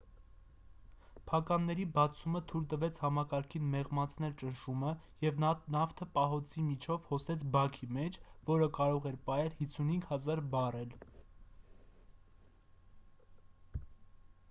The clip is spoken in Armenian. փականների բացումը թույլ տվեց համակարգին մեղմացնել ճնշումը և նավթը պահոցի միջով հոսեց բաքի մեջ որը կարող էր պահել 55,000 բարել 2,3 միլիոն գալոն: